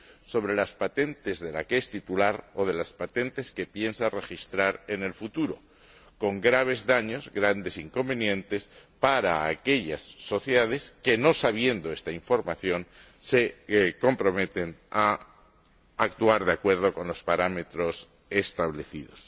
sobre las patentes del que es titular o de las patentes que piensa registrar en el futuro, con graves daños, grandes inconvenientes, para aquellas sociedades que, desconociendo esta información, se comprometen a actuar de acuerdo con los parámetros establecidos.